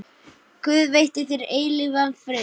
Guð veiti þér eilífan frið.